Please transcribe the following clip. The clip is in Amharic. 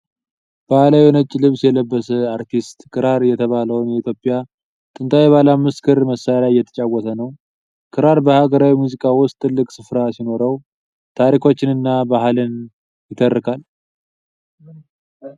በባህላዊ ነጭ ልብስ የለበሰ አርቲስት ክራር የተባለውን የኢትዮጵያ ጥንታዊ ባለ አምስት ክር መሣሪያ እየተጫወተ ነው። ክራር በሀገራዊ ሙዚቃ ውስጥ ትልቅ ሥፍራ ሲኖረው፣ ታሪኮችንና ባህልን ይተርካል።